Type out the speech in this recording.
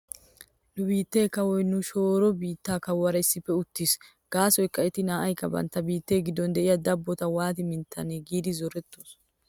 Nu biittee kawoy nu shooro biitta kawuwaara issippe uttiwttis. Gaasoykka eti naa'aykka bantta biitee giddon de'iyaa dabbotaa waati minttanee giidi zorettidosona.